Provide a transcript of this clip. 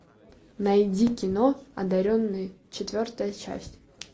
найди кино одаренные четвертая часть